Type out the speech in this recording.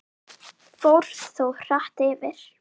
Fór þó hratt yfir.